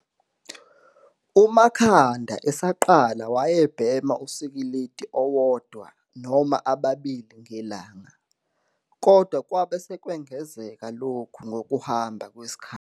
UMakhanda esaqala wayebhema usikilidi owodwa noma ababili ngelanga, kodwa kwabe sekwengezeka lokhu ngokuhamba kwesikhathi.